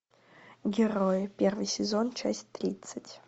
герои первый сезон часть тридцать